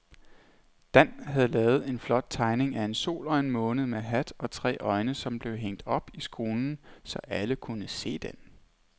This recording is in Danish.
Dan havde lavet en flot tegning af en sol og en måne med hat og tre øjne, som blev hængt op i skolen, så alle kunne se den.